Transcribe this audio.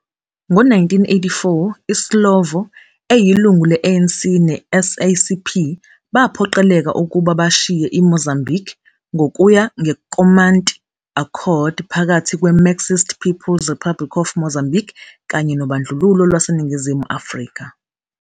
Ngo-1984, iSlovo, eyilungu le-ANC ne-SACP, baphoqeleka ukuba bashiye iMozambiki ngokuya ngeNkomati Accord phakathi kweMarxist People's Republic of Mozambique kanye nobandlululo lwaseNingizimu Afrika.